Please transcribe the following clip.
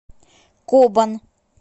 кобан